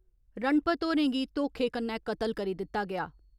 रणपत होरें गी धोखे कन्नै कतल करी दित्ता गेआ।